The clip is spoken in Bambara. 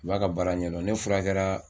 O b'a ka baara ɲɛdɔn ne furakɛla